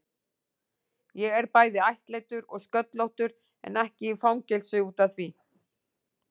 Ég er bæði ættleiddur og sköllóttur, en ekki í fangelsi út af því.